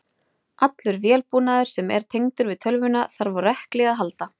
Allur vélbúnaður sem er tengdur við tölvuna þarf á rekli að halda.